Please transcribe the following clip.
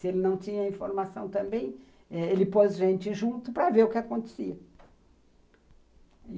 Se ele não tinha informação também, ele pôs gente junto para ver o que acontecia.